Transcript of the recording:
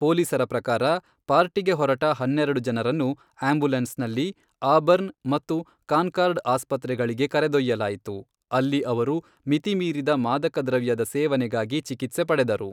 ಪೋಲೀಸರ ಪ್ರಕಾರ, ಪಾರ್ಟಿಗೆ ಹೊರಟ ಹನ್ನೆರೆಡು ಜನರನ್ನು ಆಂಬುಲೆನ್ಸ್ನಲ್ಲಿ ಆಬರ್ನ್ ಮತ್ತು ಕಾನ್ಕಾರ್ಡ್ ಆಸ್ಪತ್ರೆಗಳಿಗೆ ಕರೆದೊಯ್ಯಲಾಯಿತು, ಅಲ್ಲಿ ಅವರು ಮಿತಿಮೀರಿದ ಮಾದಕ ದ್ರವ್ಯದ ಸೇವನೆಗಾಗಿ ಚಿಕಿತ್ಸೆ ಪಡೆದರು.